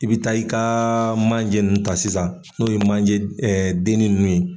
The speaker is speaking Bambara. I bɛ taa i ka manjeinnu ta sisan n'o ye manje dennen ninnu ye.